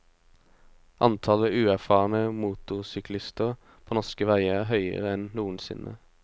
Antallet uerfarne motorsyklister på norske veier er høyere enn noensinne.